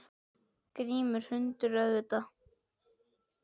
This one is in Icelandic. Grimmur hundur, auðvitað.